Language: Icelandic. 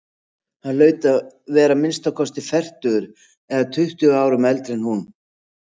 Hann hlaut að vera að minnsta kosti fertugur eða tuttugu árum eldri en hún.